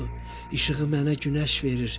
İşığı mənə Günəş verir.